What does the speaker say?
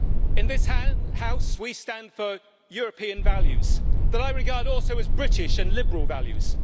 In this House we stand for European values that I regard also as British and liberal values.